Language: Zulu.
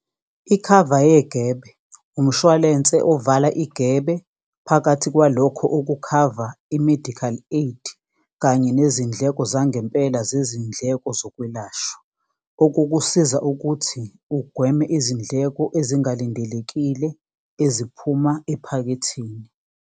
Ikhava yegebe umshwalense ovala igebe phakathi kwalokho okukhavwa i-medical aid, kanye nezindleko zangempela zezindleko zokwelashwa, okukusiza ukuthi ugweme izindleko ezingalindelekile eziphuma ephaketheni.